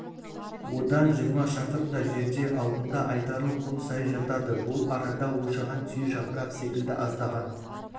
одан жиырма шақырымдай жерде алдыңда айдарлы құм сайы жатады бұл арада ошаған түйе жапырақ секілді аздаған